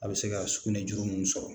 A bɛ se ka sugunɛ juru ninnu sɔrɔ.